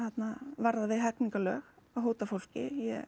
varðar við hegningarlög að hóta fólki ég